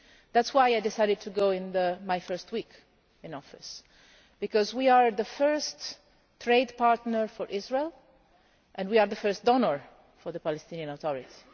That is why I decided to go in my first week in office, because we are the first trade partner for Israel and we are the first donor for the Palestinian Authority.